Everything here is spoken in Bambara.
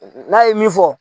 N'a ye min fɔ